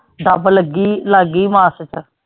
ਦੱਬ ਲੱਗੀ ਲੱਗ ਗਈ ਮਾਸ ਚ।